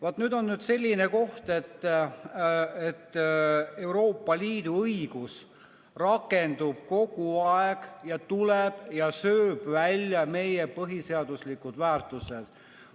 Vaat nüüd on selline koht, et Euroopa Liidu õigus rakendub kogu aeg ja tuleb ja sööb välja meie põhiseaduslikud väärtused.